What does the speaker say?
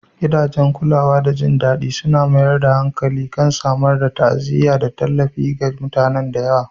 Gidajen kulawa da jin daɗi suna mayar da hankali kan samar da ta'aziyya da tallafi ga mutanen da yawa